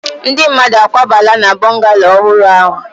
Ndi mmadu akwabala na bungallooow ohuru ahu?